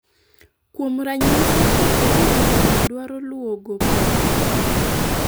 kuom ranyisi ,kapo ni riwruok dwaro luwo gope ne